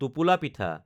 টোপোলা পিঠা